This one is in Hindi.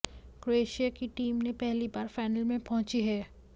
क्रोएशिया की टीम ने पहली बार फाइनल में पहुंची है